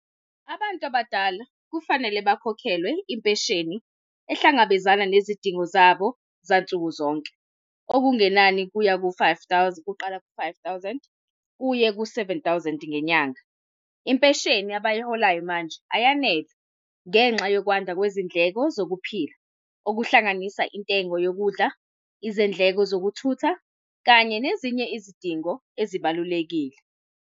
Abantu abadala kufanele bakhokhelwe impesheni ehlangabezana nezidingo zabo zansuku zonke. Okungenani kuya ku-five thousand, kuqala ku-five thousand kuye ku-seven thousand ngenyanga. Impesheni abasiholayo manje ayanele ngenxa yokwanda kwezindleko zokuphila, okuhlanganisa intengo yokudla, izindleko zokuthutha kanye nezinye izidingo ezibalulekile.